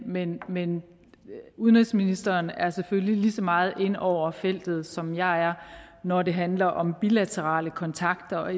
men men udenrigsministeren er selvfølgelig lige så meget inde over feltet som jeg er når det handler om bilaterale kontakter og